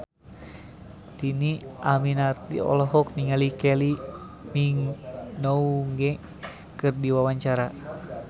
Dhini Aminarti olohok ningali Kylie Minogue keur diwawancara